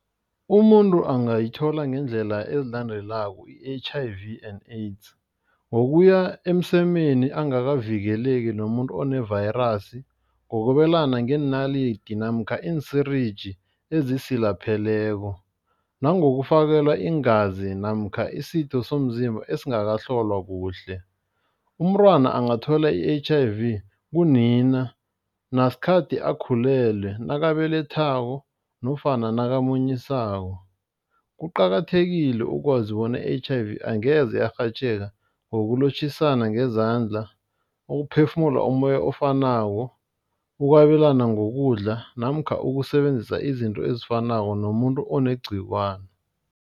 Umuntu angayithola ngeendlela ezilandelako, i-H_I_V and AIDS. Ngokuya emsemeni angakavikeleki nomuntu onevayirasi, ngokwabelana ngeenalidi namkha iinsirinji ezisilapheleko, nangokufakelwa iingazi namkha isitho somzimba esingakahlolwa kuhle. Umntwana angathola i-H_I_V kunina nasikhathi akhulelwe, nakabelethako nofana nakamunyisako. Kuqakathekile ukwazi bona i-H_I_V angeze yarhatjheka ngokulotjhisana ngezandla, ukuphefumula umoya ofanako, ukwabelana ngokudla namkha ukusebenzisa izinto ezifanako nomuntu onegciwana.